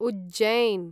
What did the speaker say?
Ujjain